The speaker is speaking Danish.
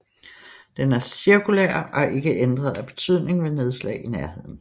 Den er cirkulær og er ikke ændret af betydning ved nedslag i nærheden